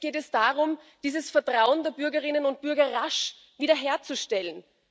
Jetzt geht es darum, dieses Vertrauen der Bürgerinnen und Bürger rasch wiederherzustellen.